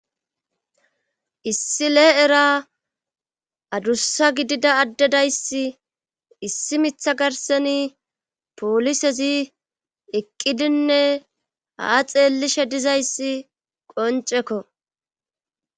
issi lee era adussa gidida addedayssi issi mitha garseni poolisezi eqqidinne haa xeellishe dizayssi qoncekko